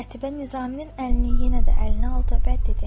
Qətibə Nizaminin əlini yenə də əlinə aldı və dedi: